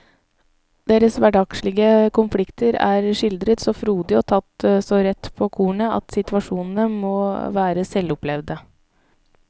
Deres hverdagslige konflikter er skildret så frodig og tatt så rett på kornet at situasjonene må være selvopplevd.